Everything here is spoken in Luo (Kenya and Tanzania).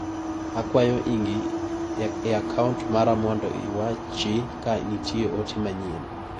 Akwayo ing'i a kaunt mara mondo iwachi ka nitie ote manyien.